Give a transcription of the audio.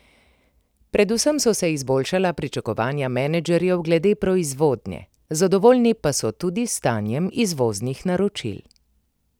Predvsem so se izboljšala pričakovanja menedžerjev glede proizvodnje, zadovoljni pa so tudi s stanjem izvoznih naročil.